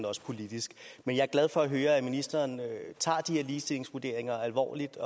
også politisk men jeg er glad for at høre at ministeren tager de her ligestillingsvurderinger alvorligt